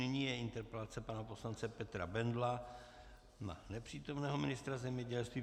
Nyní je interpelace pana poslance Petra Bendla na nepřítomného ministra zemědělství.